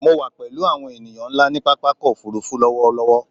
Mo wà pẹ̀lú àwọn ènìyàn ńlá ní pápákọ̀-òfurufú lọ́wọ́lọ́wọ́.